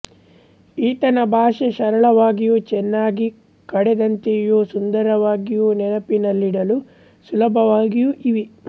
ಈತನ ಭಾಷೆ ಸರಳವಾಗಿಯೂ ಚೆನ್ನಾಗಿ ಕಡೆದಂತೆಯೂ ಸುಂದರವಾಗಿಯೂ ನೆನಪಿನಲ್ಲಿಡಲು ಸುಲಭವಾಗಿಯೂ ಇವೆ